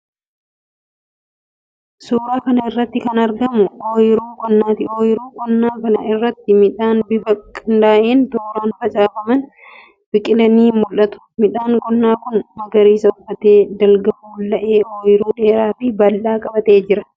Suuraa kana irratti kan argamu oyiruu qonnaati. Oyiruu qonnaa kana irratti midhaan bifa qindaa'een tooraan facaafaman biqilanii mul'atu. Midhaan qonnaa kun magariisa uffatee, dalga fulla'ee oyiruu dheeraafi bal'aa qabatee jira.